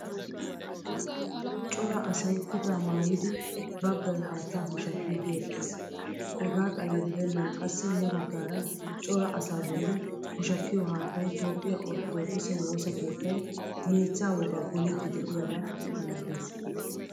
Cora asay kutta maayidi baggaay haattaa pushshakkidi eqqiis. Hegaa xalla giddenan qassi ya baggaara cora asaa bolli pushshakiyo haattaay toophphiyaa orttodokise woosaa keettay meechcha wogaa poolidi deiyaba milattees.